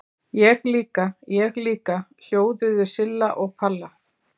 Ég líka, ég líka!!! hljóðuðu Silla og Palla.